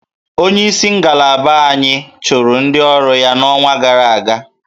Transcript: Onyeisi ngalaba anyị chụrụ ndị ọrụ ya n'ọnwa gara aga